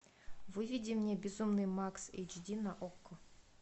выведи мне безумный макс эйч ди на окко